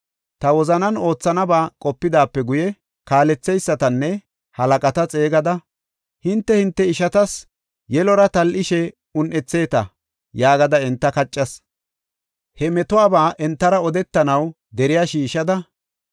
Ta wozanan oothanaba qopidaape guye, kaaletheysatanne halaqata xeegada, “Hinte, hinte ishatas yelora tal7ishe un7etheeta” yaagada enta kaccas. He metuwaba entara odetanaw deriya shiishada,